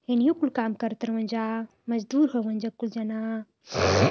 एनहियों कुल काम करत रउहन जा मजदूर होवन जा कुल जना --